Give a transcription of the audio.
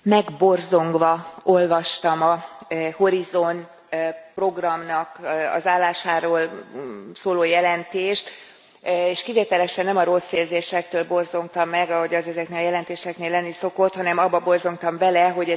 Elnök Asszony, megborzongva olvastam a Horizont program állásáról szóló jelentést, és kivételesen nem a rossz érzésektől borzongtam meg, ahogy az ezeknél a jelentéseknél lenni szokott, hanem abba borzongtam bele, hogy